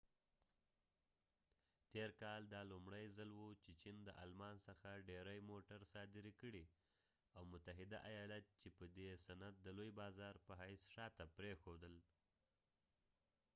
تیر کال دا لومړۍ ځل وه چې چېن د آلمان څخه ډیری موټری صادرې کړي او متحده ایالت یې په ددې صنعت دلوي بازار په حیث شاته پریښودل